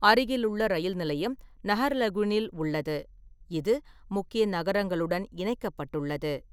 அருகிலுள்ள ரயில் நிலையம் நஹர்லகுனில் உள்ளது, இது முக்கிய நகரங்களுடன் இணைக்கப்பட்டுள்ளது.